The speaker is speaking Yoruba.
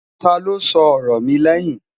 tá ló sọ ọrọ mí lèyìn?